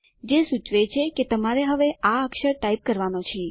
તે સૂચવે છે કે તમારે હવે આ અક્ષર ટાઇપ કરવાનો છે